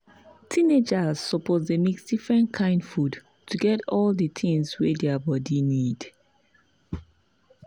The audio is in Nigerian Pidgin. teenagers suppose dey mix different kain food to get all the things wey their body need.